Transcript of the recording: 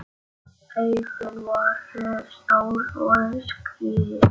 Augun voru stór og skýr.